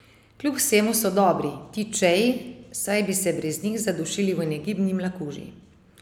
Kljub vsemu so dobri, ti čeji, saj bi se brez njih zadušili v negibni mlakuži!